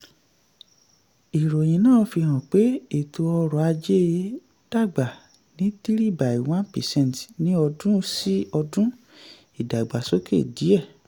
ìròyìn náà fi hàn pé ètò ọ̀rọ̀ ajé dàgbà ní three by one percent ní ọdún-sí-ọdún ìdàgbàsókè díẹ̀